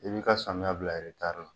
I b'i ka samiyɛ bila. I b'i taa min